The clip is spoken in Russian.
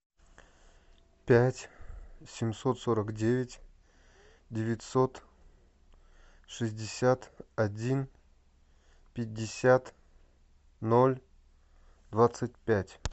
пять семьсот сорок девять девятьсот шестьдесят один пятьдесят ноль двадцать пять